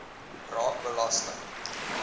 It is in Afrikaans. raak belasting